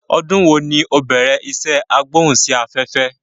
Ọdún wòó ni o bẹ̀rẹ̀ isé agbóhùn sí afẹ́fẹ́?